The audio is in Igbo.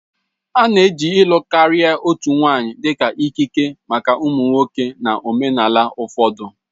A na-eji ịlụ karịa otu nwanyị dị ka ikike maka ụmụ nwoke na omenala ụfọdụ